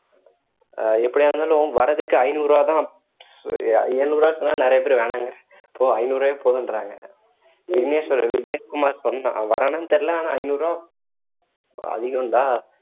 அஹ் எப்படியா இருந்தாலும் வர்றதுக்கு ஐந்நூறு ரூபாய் தான் எழுநூறு ரூபான்னு சொன்னா நிறைய பேரு வேணான்றாங்க ஐந்நூறு ரூபாவே போதுன்றாங்க விக்னேஷ் வேற விக்னேஷ்குமார் சொன்னான் அவன் வர்றானான்னு தெரியல ஆனா ஐந்நூறு ரூபாய் அதிகம் டா